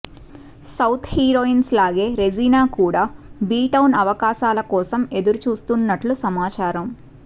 south heroines లాగే Regina కూడా B town అవకాశాల కోసం ఎదురుచూస్తున్నట్లు సమాచారం